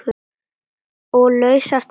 Og lausar tennur!